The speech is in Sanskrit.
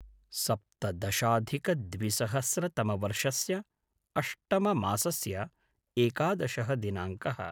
सप्तदशाधिकद्विसहस्रतमवर्षस्य अष्टममासस्य एकादशः दिनाङ्कः